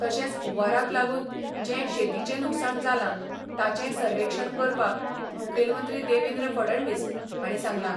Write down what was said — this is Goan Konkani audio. तशेंच हुंवाराक लागून जें शेतीचें लुकसाण जालां ताचेंय सर्वेक्षण करपाक मुखेलमंत्री देवेंद्र फडणवीस हांणी सांगलां.